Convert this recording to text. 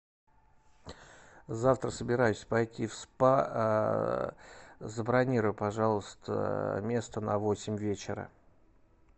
завтра собираюсь пойти в спа забронируй пожалуйста место на восемь вечера